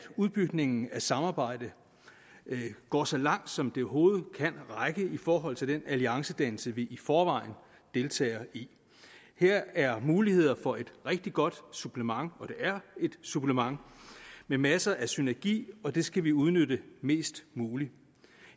udbygningen af samarbejdet går så langt som det overhovedet kan række i forhold til den alliancedannelse vi i forvejen deltager i her er muligheder for et rigtig godt supplement og det er et supplement med masser af synergi og det skal vi udnytte mest muligt